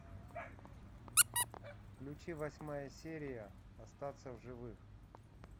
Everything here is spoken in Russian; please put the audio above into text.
включи восьмая серия остаться в живых